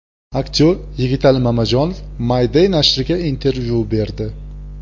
Aktyor Yigitali Mamajonov My Day nashriga intervyu berdi .